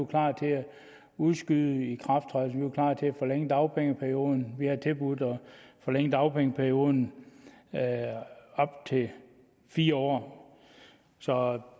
klar til at udskyde ikrafttrædelsen vi var klar til at forlænge dagpengeperioden vi har tilbudt at forlænge dagpengeperioden til fire år så